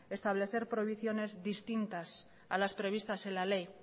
establecer provisiones distintas a las previstas en la ley